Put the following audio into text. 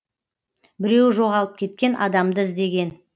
біреуі жоғалып кеткен адамды іздеген